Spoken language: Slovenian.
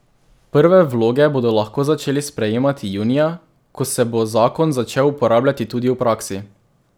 Prve vloge bodo lahko začeli sprejemati junija, ko se bo zakon začel uporabljati tudi v praksi.